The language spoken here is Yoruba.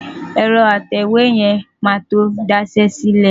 Ẹ̀rọ atẹ̀wé yẹn máa tó da iṣẹ́ sílẹ̀.